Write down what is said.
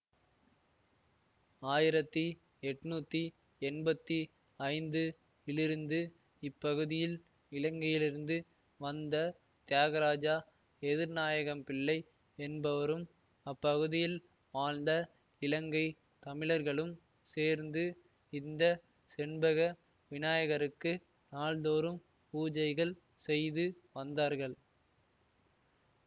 ஆயிரத்தி எட்டுநூத்தி எண்பத்தி ஐந்து இலிருந்து இப்பகுதியில் இலங்கையிலிருந்து வந்த தியாகராஜா எதிர்நாயகம்பிள்ளை என்பவரும் அப்பகுதியில் வாழ்ந்த இலங்கை தமிழர்களும் சேர்ந்து இந்த செண்பக விநாயகருக்கு நாள்தோறும் பூஜைகள் செய்து வந்தார்கள்